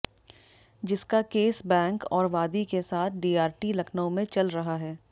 जिसका case bank और वादी के साथ डीआरटी लखनऊ में चल रहा है